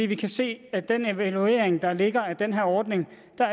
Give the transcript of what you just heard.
vi kan se af den evaluering der ligger af den her ordning